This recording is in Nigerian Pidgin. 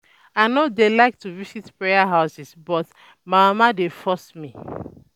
I no dey like to visit prayer houses but um my mama um dey force um me